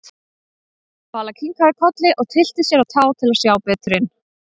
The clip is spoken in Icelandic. Vala kinkaði kolli og tyllti sér á tá til að sjá betur inn.